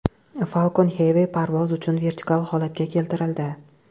Falcon Heavy parvoz uchun vertikal holatga keltirildi .